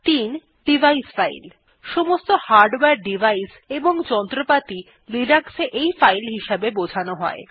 ৩ device file সমস্ত hardware device এবং যন্ত্রপাতি লিনাক্সে এই ফাইল হিসেবে বোঝানো হয়